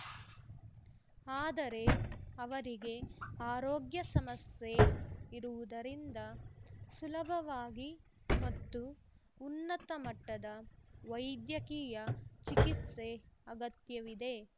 ಆದರೆ ಅವರಿಗೆ ಆರೋಗ್ಯ ಸಮಸ್ಯೆ ಇರುವುದರಿಂದ ಸುಲಭವಾಗಿ ಮತ್ತು ಉನ್ನತ ಮಟ್ಟದ ವೈದ್ಯಕೀಯ ಚಿಕಿತ್ಸೆ ಅಗತ್ಯವಿದೆ